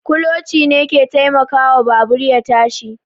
Kuloci ne ke taimakawa babur ya tashi